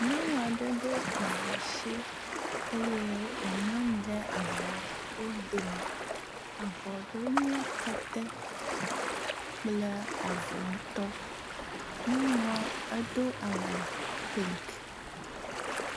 nyɔŋua ɖe ɖó avɔ si eye wo mlɔnyi ɖe avɔwo domi avɔɖowo nye kete kple avɔ ŋtɔ nyɔŋuɔ edó awu pink